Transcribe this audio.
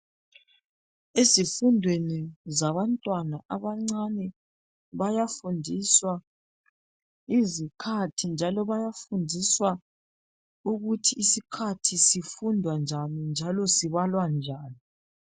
Ezifundweni zabantwana abancane bayafundiswa izikhathi njalo bayafundiswa ukuthi isikhathi sifundwa njani, njalo sibalwa njani.